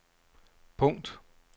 punkt